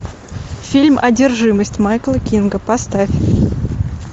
фильм одержимость майкла кинга поставь